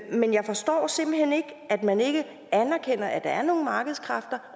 men jeg forstår simpelt hen ikke at man ikke anerkender at der er nogle markedskræfter